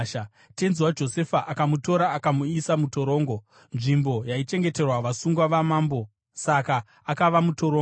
Tenzi waJosefa akamutora akamuisa mutorongo, nzvimbo yaichengeterwa vasungwa vamambo; saka akava mutorongo.